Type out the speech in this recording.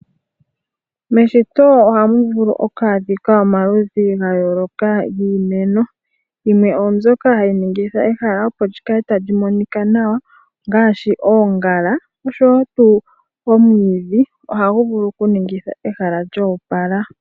Meshito ohamu vulu oku adhika omaludhi gayooloka giimeno. Yimwe oombyoka hayi ningitha ehala opo li kale tali monika nawa ongaashi, oongala oshowo tuu omwiidhi ohagu vulu okuningitha ehala lyoopala.